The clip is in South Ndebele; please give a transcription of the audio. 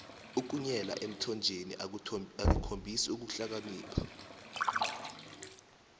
ukunyela emthonjeni akukhombisi ukuhlakanipha